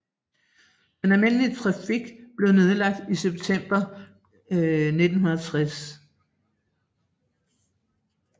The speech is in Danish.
Den almindelige trafik blev nedlagt i september 1960